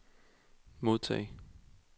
modtag